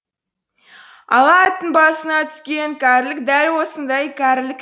ала аттың басына түскен кәрілік дәл осындай кәрілік